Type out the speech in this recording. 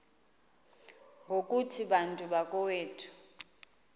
ngokuthi bantu bakowethu